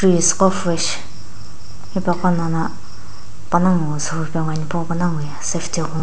hipo gho nono panagho ipu panagho ye safety --